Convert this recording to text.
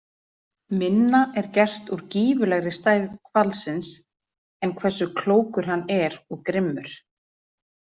Minna er gert úr gífurlegri stærð hvalsins en hversu klókur hann er og grimmur.